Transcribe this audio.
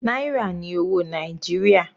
Náírà ní owó Nàìjíríà.